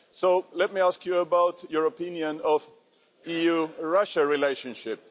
So, let me ask you about your opinion of the EU-Russia relationship.